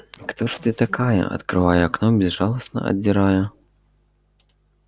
кто же ты такая открывая окно безжалостно отдирая заклеенные рамы пробормотал я